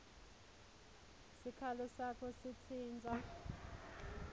sikhalo sakho sitsintsa